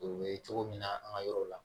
U bɛ cogo min na an ka yɔrɔw la